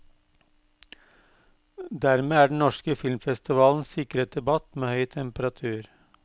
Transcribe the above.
Dermed er den norske filmfestivalen sikret debatt med høy temperatur.